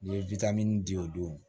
N ye witamini di o don